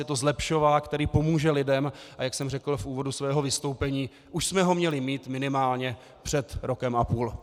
Je to zlepšovák, který pomůže lidem, a jak jsem řekl v úvodu svého vystoupení, už jsme ho měli mít minimálně před rokem a půl.